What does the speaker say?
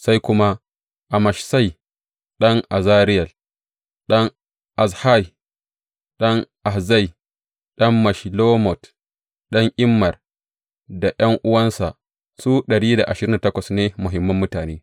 Sai kuma Amashsai ɗan Azarel, ɗan Ahzai, ɗan Meshillemot, ɗan Immer, da ’yan’uwansa, su dari da ashirin da takwas ne muhimman mutane.